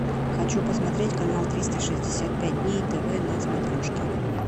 хочу посмотреть канал триста шестьдесят пять дней тв на смотрешке